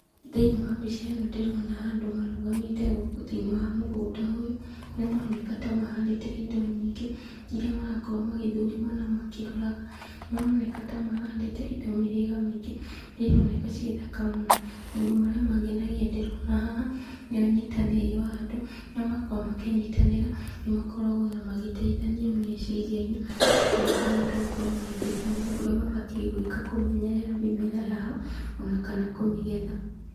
Thĩiniĩ wa mbica ĩno ndĩrona andũ marũgamĩte gũkũ thĩiniĩ wa mũgũnda ũyũ, kũrĩa maroneka ta mahandĩte indo nyingĩ, iria marakorwo magĩthũrima na makĩroraga. Maroneka ta mahandĩte indo mĩhĩrĩga mĩingĩ, iria ironeka ciĩthaka mũno. Maũndũ marĩa mangenagia ndĩrona haha, nĩ ũnyitanĩri wa andũ, harĩa makoragwo makĩnyitanĩra, nĩmakoragwo ona magĩteithania meciria-inĩ, makahota gũkorwo magĩteithania ũrĩa mabatiĩ gwĩka kũmenyerera mĩmera yao, ona kana kũmĩgetha.